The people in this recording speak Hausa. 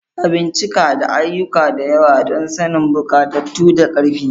A bincika da ayyuka da yawa don sanin bukatunku da ƙarfi.